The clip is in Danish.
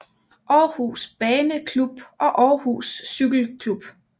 Aarhus Bane Klub og Aarhus Cykel Klub